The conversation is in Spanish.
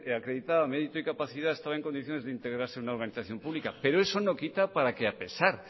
acreditaba mérito y capacidad estaba en condiciones de integrarse en una organización pública pero eso no quita para que a pesar